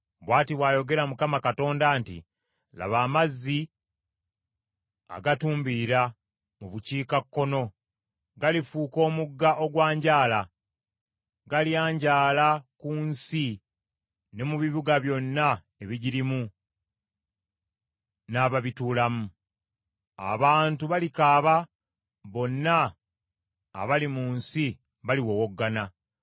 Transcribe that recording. Bw’ati bw’ayogera Mukama Katonda nti, “Laba amazzi agatumbira mu bukiikakkono, galifuuka omugga ogwanjaala. Galyanjaala ku nsi ne mu bibuga byonna ebigirimu n’ababituulamu. Abantu balikaaba; bonna abali mu nsi baliwowoggana.